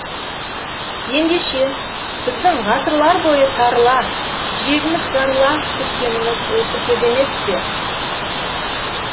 ендеше біздің ғасырлар бойы сарыла жүрегіміз жарыла күткеніміз осы кез емес пе